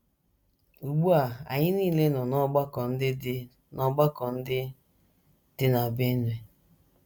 Ugbu a, anyị nile nọ n’ọgbakọ ndị dị n’ọgbakọ ndị dị na Benue.